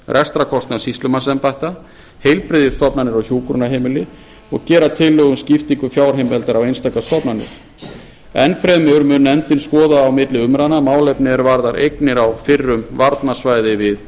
rekstrarkostnað sýslumannsembætta heilbrigðisstofnanir og hjúkrunarheimili og gera tillögu um skiptingu fjárheimildar á einstakar stofnanir enn fremur mun nefndin skoða á milli umræðna málefni er varða eignir á fyrrum varnarsvæði við